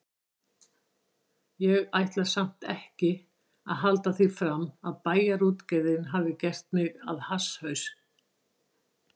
Ég ætla samt ekki að halda því fram að Bæjarútgerðin hafi gert mig að hasshaus.